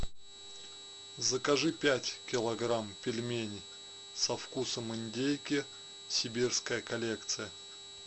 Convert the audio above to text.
закажи пять килограмм пельменей со вкусом индейки сибирская коллекция